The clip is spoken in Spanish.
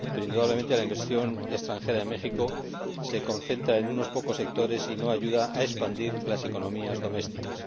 Indudablemente la inversión extranjera en México se concentra en unos pocos sectores y no ayuda a expandir las economías domésticas.